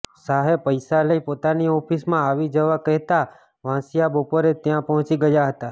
શાહે પૈસા લઇ પોતાની ઓફિસમાં આવી જવા કહેતાં વાંસિયા બપોરે ત્યાં પહોંચી ગયા હતાં